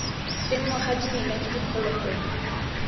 senngwa ga dimela ke diphologolo